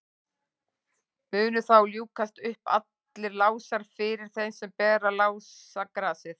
munu þá ljúkast upp allir lásar fyrir þeim sem ber lásagrasið